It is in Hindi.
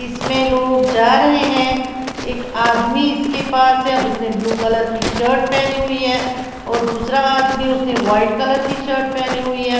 इसमें लोग जा रहे हैं एक आदमी इसके पास है उसने ब्लू कलर की शर्ट पहनी हुई है और दूसरा आदमी उसने वाइट कलर की शर्ट पहनी हुई है।